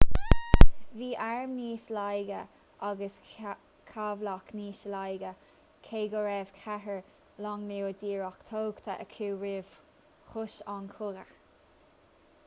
bhí airm níos laige agus cabhlach níos laige cé go raibh ceithre long nua díreach tógtha acu roimh thús an chogaidh